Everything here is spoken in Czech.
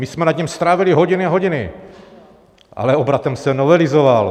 My jsme nad ním strávili hodiny a hodiny, ale obratem se novelizoval.